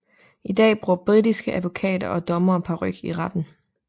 I dag bruger britiske advokater og dommere paryk i retten